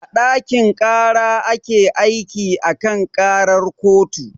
A ɗakin ƙara ake aiki a kan ƙarar kotu